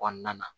Kɔnɔna na